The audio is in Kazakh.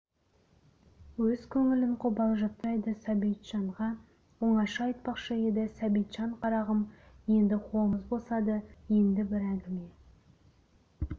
өз көңілін қобалжытқан жайды сәбитжанға оңаша айтпақшы еді сәбитжан қарағым енді қолымыз босады енді бір әңгіме